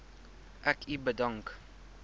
ek u bedank